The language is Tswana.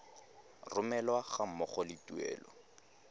romelwa ga mmogo le tuelo